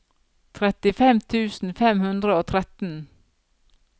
trettifem tusen fem hundre og tretten